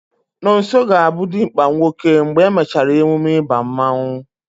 Nonso ga-abụ dimkpa nwoke mgbe e mechara emume ịba mmanụ